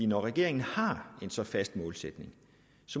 når regeringen har en så fast målsætning